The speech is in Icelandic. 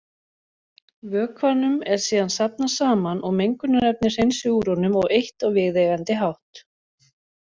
Vökvanum er síðan safnað saman og mengunarefni hreinsuð úr honum og eytt á viðeigandi hátt.